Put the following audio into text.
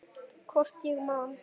Hvort ég man.